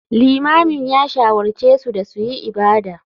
Limamin ya shawarce su da su yi ibada.